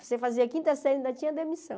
Você fazia quinta série e ainda tinha demissão.